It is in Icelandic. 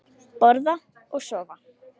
Borða og sofa.